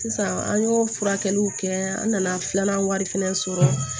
Sisan an y'o furakɛliw kɛ an nana filanan wari fɛnɛ sɔrɔ